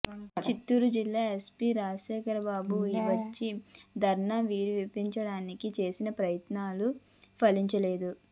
చిత్తూరు జిల్లా ఎస్పీ రాజశేఖర్బాబు వచ్చి ధర్నా విరమింపచేయడానికి చేసిన ప్రయత్నాలు ఫలించలేదు